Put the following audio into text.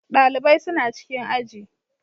Ɗalibai suna cikin aji.